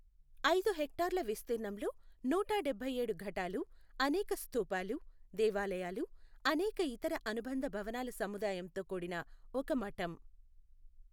ఐదు హెక్టార్ల విస్తీర్ణంలో నూట డబ్బైఏడు ఘటాలు, అనేక స్థూపాలు, దేవాలయాలు, అనేక ఇతర అనుబంధ భవనాల సముదాయంతో కూడిన ఒక మఠం.